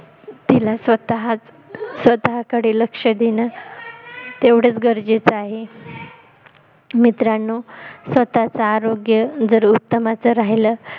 तिला स्वतः कडे लक्ष देणं तेवढचं गरजेचं आहे मित्रांनो अह स्वतः च आरोग्य जर उत्तमाच राहिलं